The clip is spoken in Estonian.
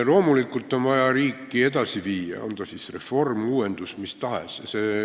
Loomulikult on vaja riiki edasi viia, on see siis reform, uuendus või mis tahes.